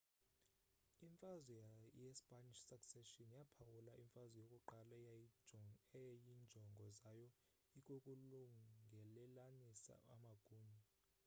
imfazwe ye spanish succession yaphawula imfazwe yokuqala eyayinjongo zayo ikukulungelelanisa amagunya